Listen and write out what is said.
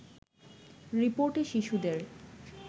রিপোর্টে শিশুদের